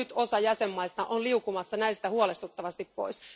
Nyt osa jäsenmaista on liukumassa näistä huolestuttavasti pois.